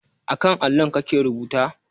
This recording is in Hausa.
A kan allon kake rubuta?